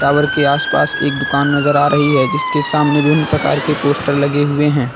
Tower के आसपास एक दुकान नजर आ रही है जिसके सामने विभिन्न प्रकार के पोस्टर लगे हुए हैं।